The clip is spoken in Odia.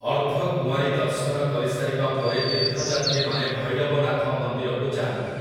ଅର୍ଦ୍ଧ କୁଆଁରୀ ଦର୍ଶନ କରିସାରିବା ପରେ ତୀର୍ଥଯାତ୍ରୀମାନେ ଭୈରବନାଥ ମନ୍ଦିରକୁ ଯାଆନ୍ତି ।